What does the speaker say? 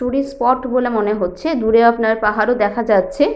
Tourist spot বলে মনে হচ্ছে। দূরে আপনার পাহাড়ও দেখা যাচ্ছে ।